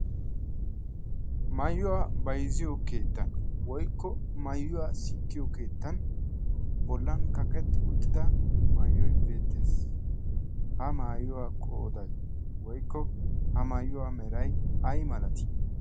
maayuwaa baizziyo keettan woikko maayuwaa sikkiyo keettan bollan kaqetti uttida maayuoi beettees. ha maayuwaa qoodai woikko ha maayuwaa merai ai malatii?